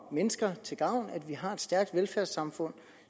mennesker til gavn at vi har et stærkt velfærdssamfund